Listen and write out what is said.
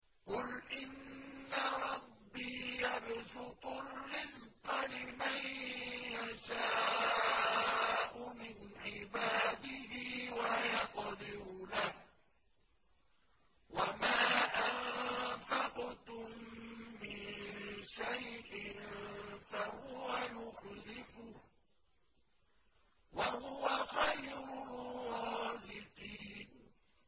قُلْ إِنَّ رَبِّي يَبْسُطُ الرِّزْقَ لِمَن يَشَاءُ مِنْ عِبَادِهِ وَيَقْدِرُ لَهُ ۚ وَمَا أَنفَقْتُم مِّن شَيْءٍ فَهُوَ يُخْلِفُهُ ۖ وَهُوَ خَيْرُ الرَّازِقِينَ